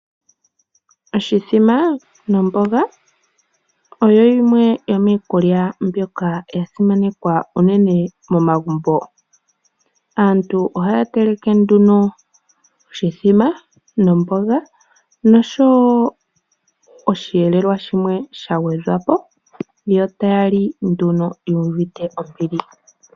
Oshithima nomboga oyo yimwe yomiikulya ndjoka yasimanekwa momagumbo. Aantu ohaateleke oshithima nomboga nosho woo osheelelwa shimwe shangwedhwapo yo taali yuuvite ombili.